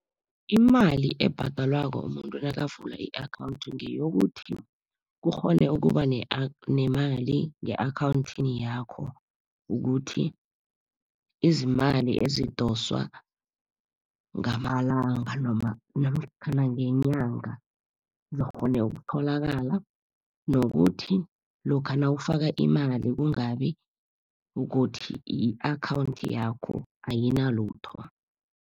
Imali ebhadalwako umuntu nakavula i-akhawunthi ngeyokuthi, kukghone ukuba nemali nge-akhawunthini yakho. Ukuthi izimali ezidoswa ngamalanga noma namkhana ngenyanga, zikghone ukutholakala. Nokuthi lokha nawufaka imali, kungabi ukuthi i-akhawunthi yakho ayinalitho.